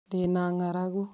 Ndĩ na ng'aragu